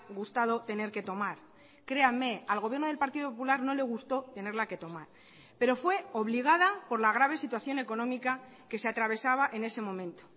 gustado tener que tomar créanme al gobierno del partido popular no le gustó tenerla que tomar pero fue obligada por la grave situación económica que se atravesaba en ese momento